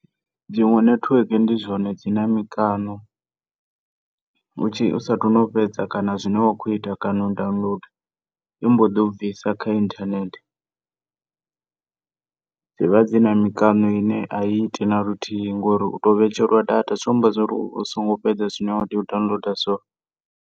Dzinwe nethiweke ndi zwone dzina mikano u tshi, usathu no fhedza kana zwine wa kho ita kana u downloader i mboḓi u bvisa kha inthanethe. Dzivha dzina mikano ine a i iti naluthihi ngori uto vhetshelwa data zwikho amba uri .